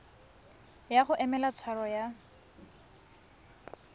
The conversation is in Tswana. ya go emela tshwaro ya